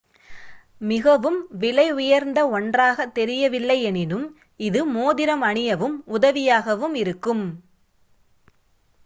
மிகவும் விலையுயர்ந்த ஒன்றாக தெரியவில்லை எனினும் இது மோதிரம் அணியவும் உதவியாக இருக்கும்